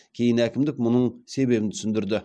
кейін әкімдік мұның себебін түсіндірді